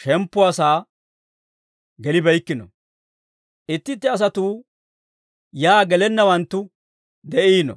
shemppuwaa sa'aa gelibeykkino; itti itti asatuu yaa gelanawanttu de'iino.